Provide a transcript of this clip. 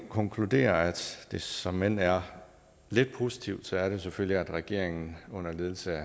konkludere at det såmænd er lidt positivt er det selvfølgelig at regeringen under ledelse af